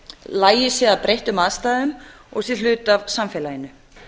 lagi sig að breyttum aðstæðum og sé hluti af samfélaginu